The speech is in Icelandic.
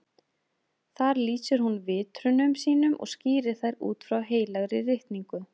Þar lýsir hún vitrunum sínum og skýrir þær út frá Heilagri ritningu.